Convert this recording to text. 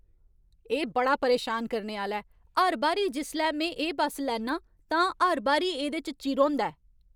एह् बड़ा परेशान करने आह्‌ला ऐ! हर बारी जिसलै में एह् बस्स लैन्नां, तां हर बारी एह्दे च चिर होंदा ऐ।